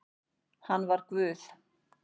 Hann var Guð